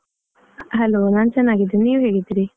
Hello ನಾನ್ ಚನ್ನಾಗಿದ್ದೇನೆ, ನೀವ್ ಹೇಗಿದ್ದೀರಿ?